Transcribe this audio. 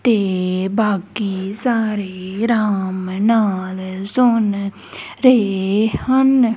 ਤੇ ਬਾਕੀ ਸਾਰੇ ਰਾਮ ਨਾਲ ਸੁਨ ਰਹੇ ਹਨ।